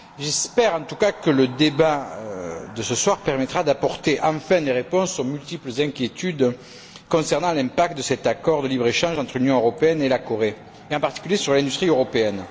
J'espère, en tout cas, que le débat de ce soir permettra d'apporter enfin des réponses aux multiples inquiétudes concernant l'impact de cet accord de libre échange entre l'Union européenne et la Corée, et en particulier sur l'industrie européenne.